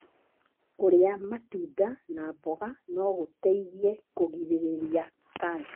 Kũrĩa matunda na mboga no gũteithie kũgirĩrĩria kanca.